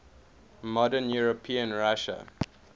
modern european russia